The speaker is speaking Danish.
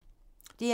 DR1